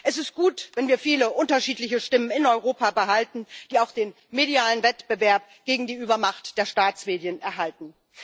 Es ist gut, wenn wir viele unterschiedliche Stimmen in Europa behalten, die auch den medialen Wettbewerb gegen die Übermacht der Staatsmedien erhalten.